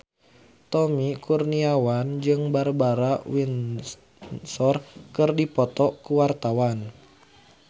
Tommy Kurniawan jeung Barbara Windsor keur dipoto ku wartawan